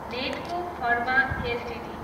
Natco Pharma Ltd